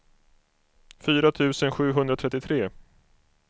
fyra tusen sjuhundratrettiotre